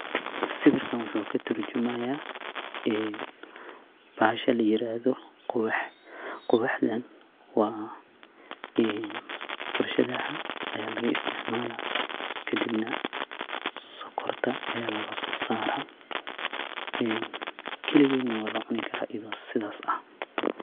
Siwekan waxu katarjumaya ee bahasha layeradoh quwaxda , quwaxdanbwa ee warshadaha laga isticmalah kadibnah sokorta laga so Sarah kaligeet Wala cuni karah.